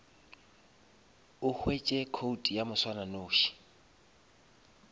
o hwetše code ya moswananoši